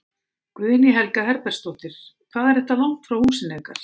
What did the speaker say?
Guðný Helga Herbertsdóttir: Hvað er þetta langt frá húsinu ykkar?